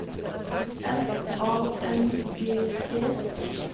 F A N G E